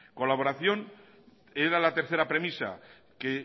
colaboración era la tercera premisa que